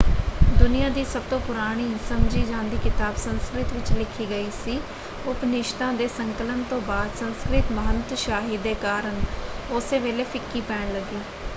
ਦੁਨੀਆਂ ਦੀ ਸਭਤੋਂ ਪੁਰਾਣੀ ਸਮਝੀ ਜਾਂਦੀ ਕਿਤਾਬ ਸੰਸਕ੍ਰਿਤ ਵਿੱਚ ਲਿਖੀ ਗਈ ਸੀ। ਉਪਨਿਸ਼ਦਾਂ ਦੇ ਸੰਕਲਨ ਤੋਂ ਬਾਅਦ ਸੰਸਕ੍ਰਿਤ ਮਹੰਤਸ਼ਾਹੀ ਦੇ ਕਾਰਨ ਉਸੇ ਵੇਲੇ ਫਿੱਕੀ ਪੈਣ ਲੱਗੀ।